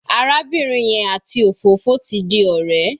Arábìnrin yẹn àti òfófó ti di ọ̀rẹ́.